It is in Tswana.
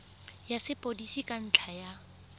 ya sepodisi ka ntlha ya